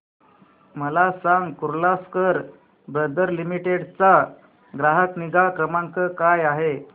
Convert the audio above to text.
मला सांग Kirloskar brother limited चा ग्राहक निगा क्रमांक काय आहे